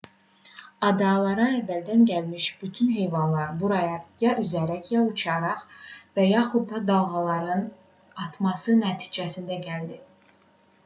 adalara əvvəldən gəlmiş bütün heyvanlar buraya ya üzərək ya uçaraq və yaxud da dalğaların atması nəticəsində gəlib